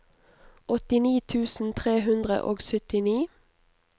åttini tusen tre hundre og syttini